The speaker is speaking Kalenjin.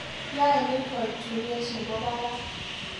Yae ni koe tuget nebo barak